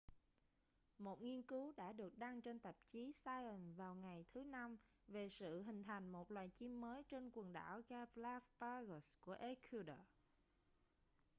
một nghiên cứu đã được đăng trên tạp chí science vào ngày thứ năm về sự hình thành một loài chim mới trên quần đảo galápagos của ecuador